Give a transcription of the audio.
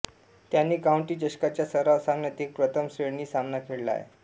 त्याने काउंटी चषकाच्या सराव सामन्यात एक प्रथम श्रेणी सामना खेळला आहे